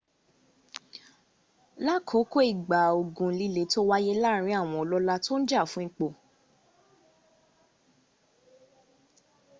lákòókò ìgbà ogun líle tó wáyé láàrin àwọn ọlọ́lá tó ń jà fún ipò